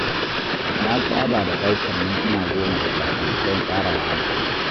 Na saba da ɗaukar mintuna goma da safe don tsara rana ta.